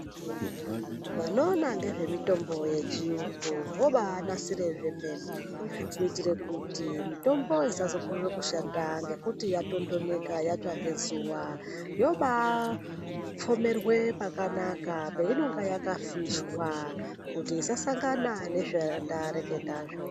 Vanoona ngezvemitombo yechiyungu vobanasire zvemene kuitira kuti mitombo isazokorere kushanda ngekuti yatondoneka yatsva ngezuwa. Yoba pfomere pakanaka painenge yakafishwa kuti isasangana nezvandareketazvo.